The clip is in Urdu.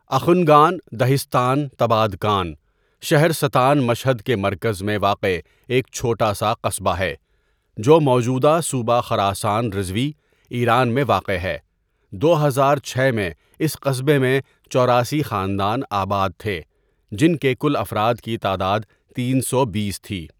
اخنگان دهستان تبادکان، شہرستان مشہد کے مرکز میں واقع ایک چھوٹا سا قصبہ ہے جو موجودہ صوبہ خراسان رضوی، ایران میں واقع ہے دو ہزار چھ میں اِس قصبے میں چوراسی خاندان آباد تھے جن کے کل افراد کی تعداد تین سو بیس تھی.